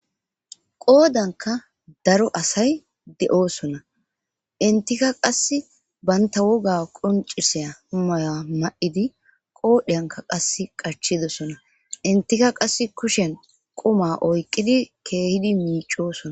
qoodanka daro asay de7oosona entika qass banta woga qonciseya humaya ma7idi qoodheyanka qas qachidosona intika qass kushen quma oyqqidi keehidi miicoosona